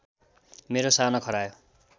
मेरो सानो खरायो